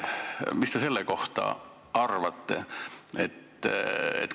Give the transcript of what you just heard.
Mis te selle kohta arvate?